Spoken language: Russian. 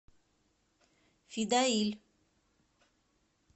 фидаиль